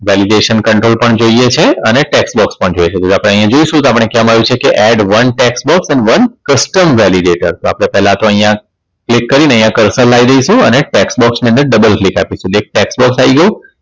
Valedison Control પણ જોઈએ છે અને tax box પણ જોઈ શકો છો. આપણે હોય જોઈશું તો આપણે કહેવામાં આવ્યું છે કે add one tax box and one Custom Validation તો આપણે પેહલા તો અહીંયા click કરીને અહીંયા Cursal લાવી દઈશું અને tax box ની અંદર Double click આપીશું જે tax box આઈ ગયું